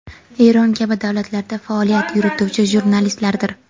Eron kabi davlatlarda faoliyat yurituvchi jurnalistlardir.